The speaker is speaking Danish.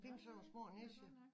Nej nej nej det kan jeg godt mærke